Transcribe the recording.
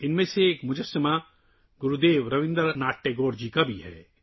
ان مجسموں میں سے ایک گرودیو رابندر ناتھ ٹیگور کا ہے